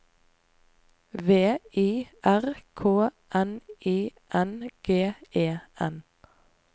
V I R K N I N G E N